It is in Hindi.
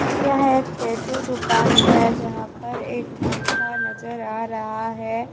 यह एक टैटू दुकान है जहां पर एक पंखा नजर आ रहा है।